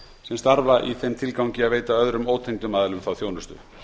sem starfa í þeim tilgangi að veita öðrum ótengdum aðilum þá þjónustu